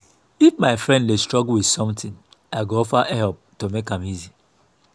if my friend dey struggle with something i go offer help to make am easy.